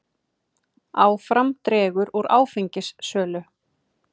Áfram dregur úr áfengissölu